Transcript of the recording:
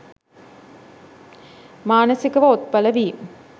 මානසිකව ඔත්පල වී